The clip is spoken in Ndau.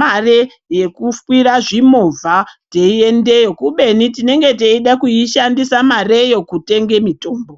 mare yekukwira zvimovha teiyendeyo kubeni tinoga teieda kushandisa mareyo kutenge mithombo.